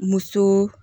Musoo